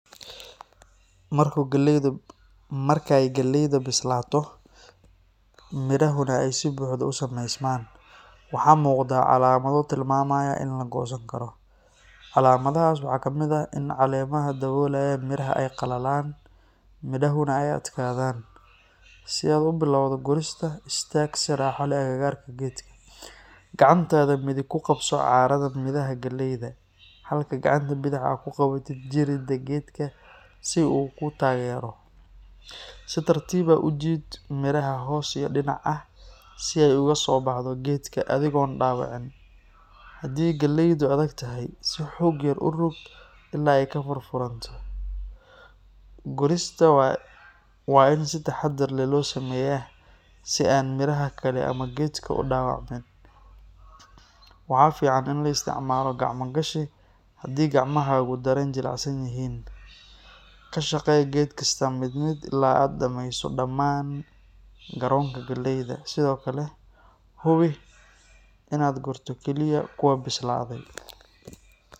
Markay galleyda bislaato, midhahuna ay si buuxda u sameysmaan, waxaa muuqda calaamado tilmaamaya in la goosan karo. Calaamadahaas waxaa ka mid ah in caleemaha daboolaya midhaha ay qalalaan, midhahuna ay adkaadaan. Si aad u bilowdo gurista, istaag si raaxo leh agagaarka geedka. Gacantaada midig ku qabso caarada midhaha galleyda, halka gacanta bidix aad ku qabato jirida geedka si uu kuu taageero. Si tartiib ah u jiid midhaha hoos iyo dhinac ah si ay uga soo baxdo geedka adigoon dhaawicin. Haddii galleydu adagtahay, si xoog yar u rog ilaa ay ka furfuranto. Gurista waa in si taxaddar leh loo sameeyaa si aan midhaha kale ama geedka u dhaawacmin. Waxaa fiican in la isticmaalo gacmo-gashi haddii gacmahaagu dareen jilicsan yihiin. Ka shaqee geed kasta mid mid ilaa aad dhamayso dhamaan garoonka galleyda. Sidoo kale, hubi inaad gurto kaliya kuwa bislaaday.